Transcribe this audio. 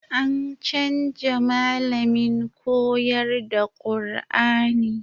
An canja malamin koyar da Kur'ani